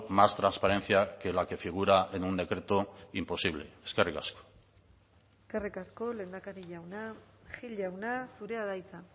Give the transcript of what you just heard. más transparencia que la que figura en un decreto imposible eskerrik asko eskerrik asko lehendakari jauna gil jauna zurea da hitza